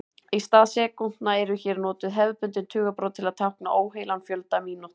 Í stað sekúndna eru hér notuð hefðbundin tugabrot til að tákna óheilan fjölda mínútna.